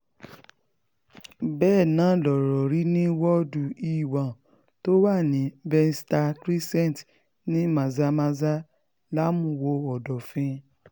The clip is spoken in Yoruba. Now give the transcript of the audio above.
bẹ́ẹ̀ náà lọ̀rọ̀ rí ní woodu e1 tó wà ní benster crescent ní mazamaza làmúwò ọ̀dọ́fín